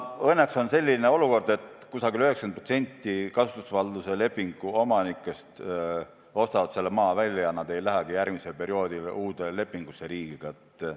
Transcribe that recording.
Õnneks on selline olukord, et umbes 90% kasutusvalduse lepingu omanikest ostab selle maa välja ja nad ei sõlmigi järgmisel perioodil uut lepingut riigiga.